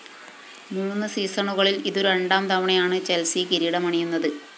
മൂന്ന് സീസണുകളില്‍ ഇതു രണ്ടാം തവണയാണ് ചെല്‍സി കിരീടമണിയുന്നത്